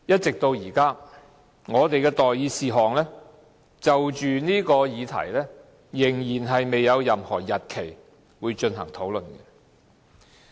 直至現在，我們就着這項議題的待議事項仍未有任何進行討論的日期。